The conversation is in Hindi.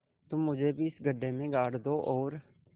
तुम मुझे भी इस गड्ढे में गाड़ दो और